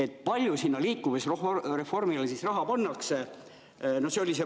Kui palju liikuvusreformi siis raha pannakse?